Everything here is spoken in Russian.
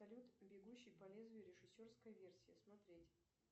салют бегущий по лезвию режиссерская версия смотреть